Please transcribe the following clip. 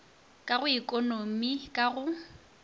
ka go ekonomi ka go